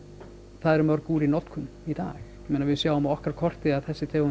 það eru mörg úr í notkun í dag við sjáum á okkar korti að þessi tegund